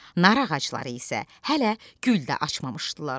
Nar ağacları isə hələ gül də açmamışdılar.